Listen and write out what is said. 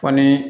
Fɔ ni